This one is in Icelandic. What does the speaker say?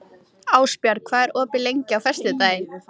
Loksins getum við andað, slakað á og notið.